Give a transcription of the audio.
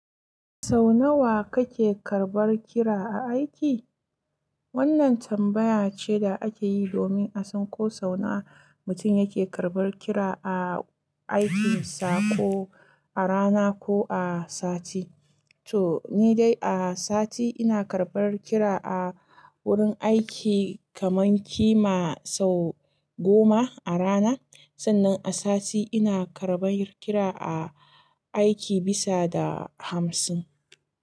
Sau nawa kake karbar kira a aiki? Wannan tambaya ce da ake yi domin a san ko sau nawa mutum yake karbar kira a aikinsa, ko a rana ko a sati. To ni dai a sati ina karbar kira a wurin aiki kaman kima sau goma a rana. Sannan a sati ina karbar kira a aiki bisa da hamsin.